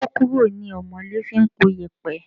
Ikokuro ni omole fi ń po iyẹpẹ.